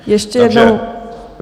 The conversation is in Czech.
Ještě jednou.